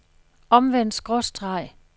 omvendt skråstreg